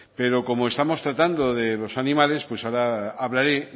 pero como estamos tratando de los animales pues ahora hablaré